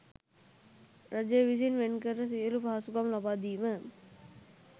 රජය විසින් වෙන් කර සියලු පහසුකම් ලබා දීම